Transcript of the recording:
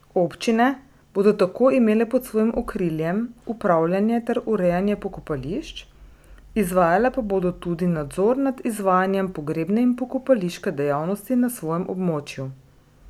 Občine bodo tako imele pod svojim okriljem upravljanje ter urejanje pokopališč, izvajale pa bodo tudi nadzor nad izvajanjem pogrebne in pokopališke dejavnosti na svojem območju.